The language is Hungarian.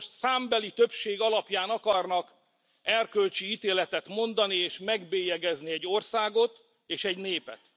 Önök most számbeli többség alapján akarnak erkölcsi ítéletet mondani, és megbélyegezni egy országot és egy népet.